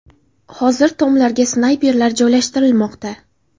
Hozir tomlarga snayperlar joylashtirilmoqda.